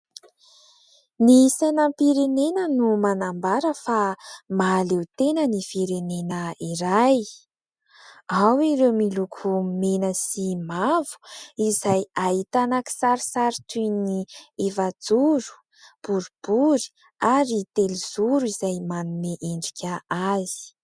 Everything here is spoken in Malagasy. Ny sainam-pirenena no manambara fa, mahaleo-tena ny firenena iray. Ao ireo miloko mena sy mavo, izay ahitana kisarisary toy ny : efa-joro, boribory, ary telozoro izay manome endrika azy.